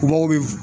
Mɔgɔw bɛ